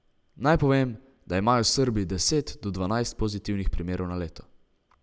Naj povem, da imajo Srbi deset do dvanajst pozitivnih primerov na leto.